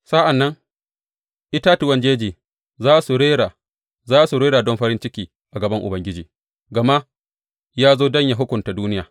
Sa’an nan itatuwan jeji za su rera, za su rera don farin ciki a gaban Ubangiji, gama ya zo don yă hukunta duniya.